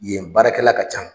Yen baarakɛla ka can.